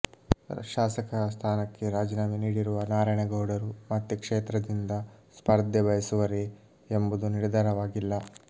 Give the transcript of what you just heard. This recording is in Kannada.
ಶಾಸಕ ಸ್ಥಾನಕ್ಕೆ ರಾಜೀನಾಮೆ ನೀಡಿರುವ ನಾರಾಯಣಗೌಡರು ಮತ್ತೆ ಕ್ಷೇತ್ರದಿಂದ ಸ್ಪರ್ಧೆ ಬಯಸುವರೇ ಎಂಬುದು ನಿರ್ಧಾರವಾಗಿಲ್ಲ